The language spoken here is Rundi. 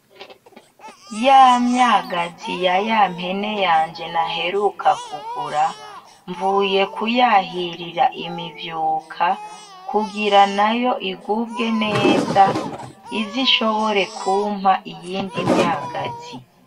Ya myagazi ya ya mpene yanje naheruka kugura, mvuye kuyahirira imivyuka kugira nayo igubwe neza, ize ishobore kumpa iyindi myagazi.